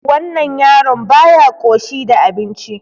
Wannan yaron baya ƙoshi da abinci.